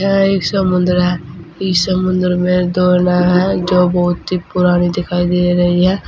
यह एक समुद्र है इस समुद्र में दो नाव है जो बहुत ही पुरानी दिखाई दे रही है।